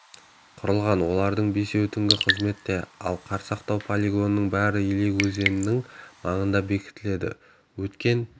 құрылған олардың бесеуі түнгі қызметте ал қар сақтау полигонының бәрі елек өзенінің маңына бекітілді өткен